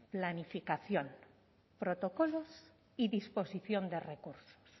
planificación protocolo y disposición de recursos